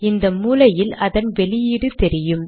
இந்த மூலையில் அதன் வெளியீடு தெரியும்